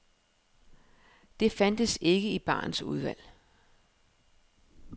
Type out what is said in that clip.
Det fandtes ikke i barens udvalg.